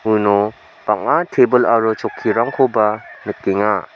uno bang·a tebil aro chokkirangkoba nikenga.